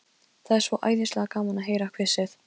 Það er svo æðislega gaman að heyra hvissið.